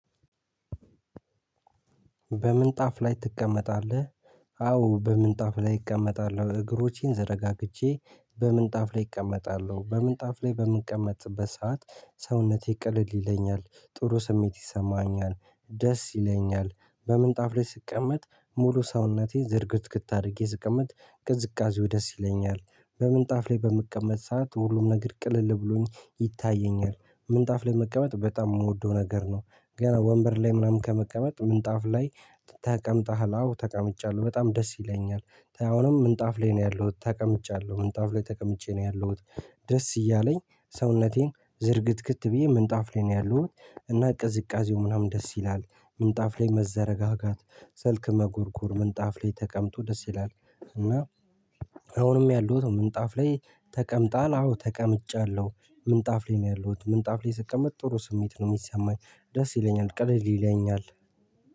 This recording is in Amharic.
በምንጣፍ ላይ ትቀመጣለህ? አዎ በምንጣፍ ላይ እቀመጣለሁ። እግሮቼን ዘረጋግቼ በምንጣፍ ላይ እቀመጣለሁ በምንጣፍ ላይ በምቀመጥበት ሰዓት ሰውነቴ ቀለል ይለኛል። ጥሩ ስሜት ይሰማኛል። ደስ ይለኛል። በምንጣፍ ላይ ስቀመጥ ሙሉ ሰውነቴ ዝርግትግት አድርጌ ስቀመጥ ቅዝቃዜው ደስ ይለኛል። በምንጣፍ ላይ በምቀመጥ ሰዓት ሁሉም ነገር ቅልል ብሎኝ ይታየኛል። ምንጣፍ ላይ መቀመጥ በጣም ምወደው ነገር ነው። ገና ወንበር ላይ ምናምን ከመቀመጥ ምንጣፍ ላይ ተቀምጠሃል አዎ ተቀምጫለሁ በጣም ደስ ይለኛል። አሁንም ምንጣፍ ላይ ነው ያለሁት ተቀምጫለሁ ምንጣፍ ላይ ተቀምጬ ነው ያለሁት። ደስ እያለኝ ሰውነቴን ዝርግትግት ብዬ ምንጣፍ ላይ ነው ያለሁት። እና ቅዝቃዜው ምናምን ደስ ይላል ምንጣፍ ላይ መዘረጋጋት ስልክ መጎርጎር ምንጣፍ ላይ ተቀምጦ ደስ ይላል። እና አሁንም ያለሁት ምንጣፍ ላይ ተቀምጠሃል? አዎ ተቀምጫለሁ። ምንጣፍ ላይ ነው ያለሁት ምንጣፍ ላይ ስቀመጥ ጥሩ ስሜት ነው ሚሰማኝ ደስ ይለኛል ቀለል ይለኛል።